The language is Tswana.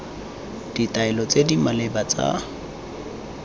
ditaelo tse di maleba tsa